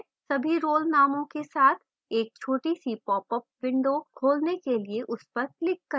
सभी role नामों के साथ एक छोटी सी popअप window खोलने के लिए उस पर click करें